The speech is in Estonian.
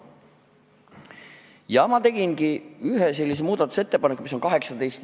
Ja ma tegingi ühe sellise muudatusettepaneku, mis kannab numbrit 18.